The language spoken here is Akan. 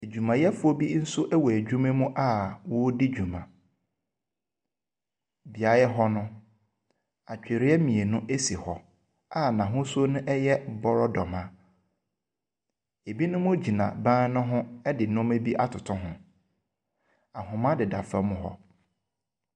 Adwumayɛfoɔ bi nso wɔ adwuma mu a wɔredi dwuma. beaeɛ hɔ no, atwediɛ mmienu esi hɔ a n'ahosuo no ɛyɛ brodomma. Ebinom gyina ban ne ho ɛde nnoɔma bi atoto ho. Ahoma deda fam hɔ.